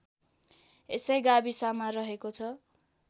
यसै गाविसमा रहेको छ